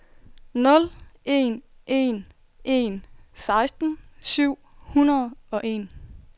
nul en en en seksten syv hundrede og en